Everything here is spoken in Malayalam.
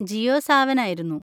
ജിയോ സാവൻ ആയിരുന്നു.